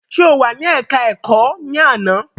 Ṣe o wà ní ẹka ẹ̀kọ́ ẹ̀kọ́ ní àná?